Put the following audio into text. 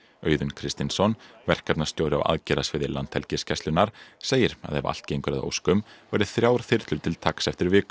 Auðunn verkefnastjóri á aðgerðasviði Landhelgisgæslunnar segir að ef allt gengur að óskum verði þrjár þyrlur til taks eftir viku